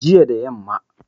jiya da yamma